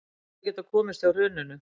Hefðu getað komist hjá hruninu